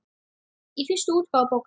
Í fyrstu útgáfu bókar